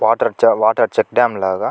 Water చ water check dam లాగా.